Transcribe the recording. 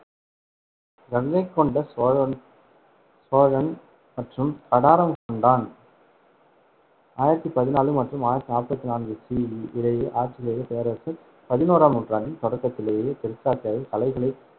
கங்கைகொண்ட சோழன் சோழன், மற்றும் கடாரம் கொண்டான் ஆயிரத்தி பதினாலு மற்றும் ஆயிரத்தி நாற்பத்தி நான்கு CE இடையே ஆட்சி செய்த பேரரசர். பதினோறாம் நூற்றாண்டின் தொடக்கத்திலேயே தெற்காசியாவில் கலைகளை